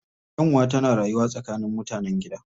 Kyanwa tana rayuwa tsakanin mutanen gida